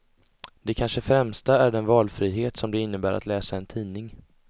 Det kanske främsta är den valfrihet som det innebär att läsa en tidning.